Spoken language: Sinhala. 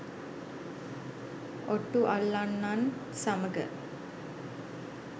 ඔට්ටු අල්ලන්නන් සමඟ